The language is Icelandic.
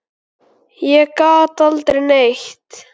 Ég gat aldrei neitt.